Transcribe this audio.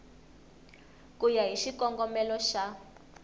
ku ya hi xikongomelo xa